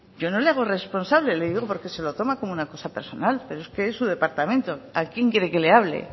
yo no le hago responsable le digo porque se lo toma como una cosa personal pero es que es su departamento a quién quiere que le hable